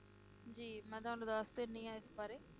ਜੀ, ਮੈ ਤੁਹਾਨੂੰ ਦੱਸ ਦਿੰਨੀ ਆ ਇਸ ਬਾਰੇ